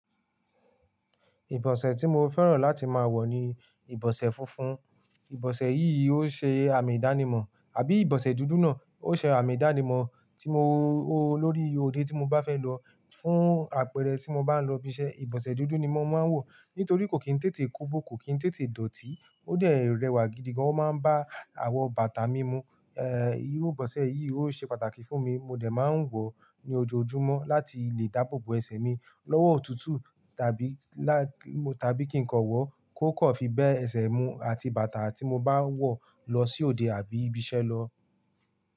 Ìbọ̀sẹ̀ tí mo fẹ́ràn láti máa wọ̀ ni ìbọ̀sẹ̀ funfun. Ìbọ̀sẹ̀ yìí ó ṣe àmì ìdánimọ̀ àbí ìbọ̀sẹ̀ dúdú náà ó ṣe àmì ìdánimọ̀ tí mo lo lórí òde tí mo bá fẹ́ lọ fún àpẹẹrẹ tí mo bá ń lọ ibi iṣẹ́. Ìbọ̀sẹ̀ dúdú ni mo máa ń wọ̀ nítorí kò kí ń tètè kobo, kò kí ń tètè dọ̀tí. Ó dẹ̀ rẹwà gidi gan, ó máa ń bá àwọ̀ bàtà mi mu. Iru ìbọ̀sẹ̀ yìí ó ṣe pàtàkì fún mi. Mo dẹ̀ máa ń wọ̀ ọ́ ní ojoojúmọ́ láti lè dáàbò bo ẹsẹ̀ mi lọ́wọ́ òtútù tàbí kí nǹkan wọ̀ kó kọ̀ fi bé ẹsẹ̀ mu àti bàtà tí mo bá ń wọ̀ lọ sí òde àbí ibi iṣẹ́ lọ.